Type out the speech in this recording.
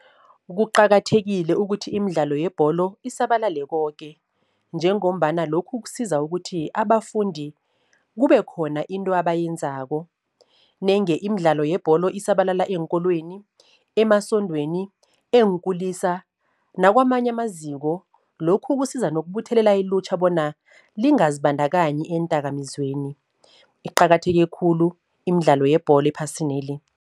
Kuqakathekile ukuthi imidlalo yebholo isabalale koke, njengombana lokhu kusiza ukuthi abafundi kube khona into abayenzako. Nenge imidlalo yebholo isabalala eenkolweni, emasondweni, eenkulisa nakwamanye amaziko, lokhu kusiza nokubuthelela ilutjha bona lingazibandakanyi eendakamizweni. Iqakatheke khulu imidlalo yebholo ephasineli.